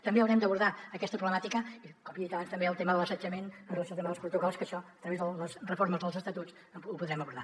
també haurem d’abordar aquesta problemàtica i com he dit abans també el tema de l’assetjament en el tema dels protocols que això a través de les reformes dels estatuts ho podrem abordar